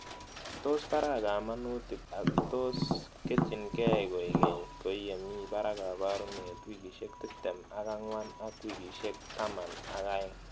Tos paraa kamanutik ako tos ketchinikei koek keny ko yee mii parak kaparunet wikishek tiptem ak ang'wan ak wikishek taman ak aeng'